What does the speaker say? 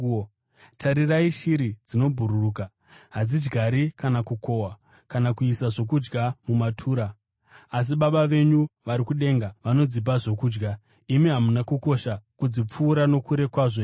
Tarirai shiri dzinobhururuka, hadzidyari kana kukohwa kana kuisa zvokudya mumatura, asi Baba venyu vari kudenga vanodzipa zvokudya. Imi hamuna kukosha kudzipfuura nokure kwazvo here?